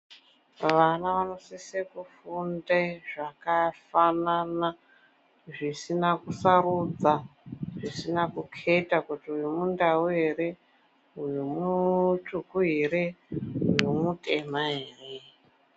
Vana vanosise kufunde zvakafanana zvisina kusarudza, zvisina kuketa kuti uyu muNdau ere, uyu mutsvuku ere, uyu mutema ere.